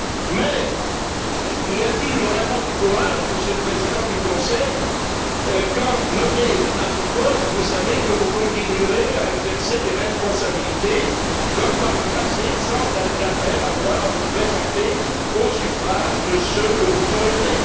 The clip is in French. Mais y a t il vraiment du courage, Monsieur le Président du conseil, quand, nommé à ce poste, vous savez que vous continuerez à exercer des responsabilités comme par le passé, sans jamais avoir à vous présenter au suffrage de ceux que vous gouvernez.